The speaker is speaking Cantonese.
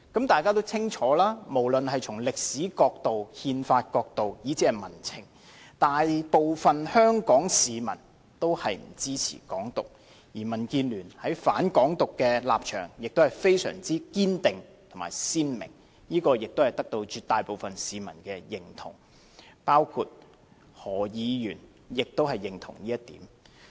大家也清楚，無論從歷史角度、憲法角度，以至民情來看，大部分的香港市民均不支持"港獨"，而民主建港協進聯盟在"反港獨"的立場亦非常堅定和鮮明，這也得到絕大部分市民的認同，包括何議員也認同這點。